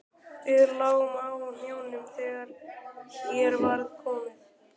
Við lágum á hnjánum þegar hér var komið.